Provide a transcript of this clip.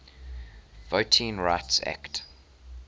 voting rights act